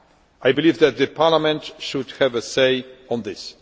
I believe that Parliament should have a say on this.